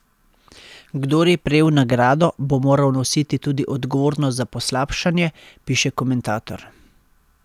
Kdor je prejel nagrado, bo moral nositi tudi odgovornost za poslabšanje, piše komentator.